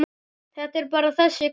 Þetta er bara þessi krabbi.